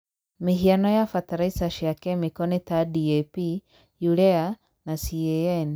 Mĩhiano ya bataraiza cia kemiko nĩ ta DAP, Urea na CAN.